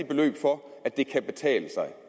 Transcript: beløb for at det kan betale sig